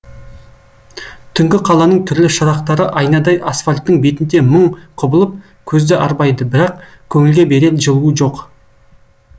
түнгі қаланың түрлі шырақтары айнадай асфальттің бетінде мың құбылып көзді арбайды бірақ көңілге берер жылуы жоқ